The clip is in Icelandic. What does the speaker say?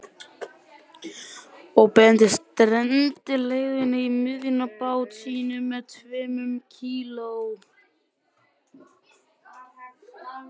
Og Benedikt stendur gleiðfættur í miðjum bát sínum um tveimur kíló